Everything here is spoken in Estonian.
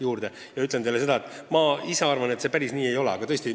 Mis teie küsimusse puutub, siis ma ise arvan, et see päris nii ei ole.